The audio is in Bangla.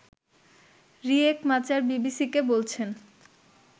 রিয়েক মাচার বিবিসিকে বলছেন